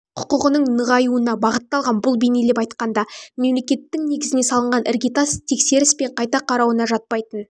құқықтығының нығаюуына бағытталған бұл бейнелеп айтқанда мемлекеттің негізіне салынған іргетас тексеріс пен қайта қарауына жатпайтын